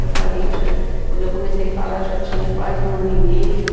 Eu falei já, quando eu comecei a falar, eu já tinha quase um ano e meio.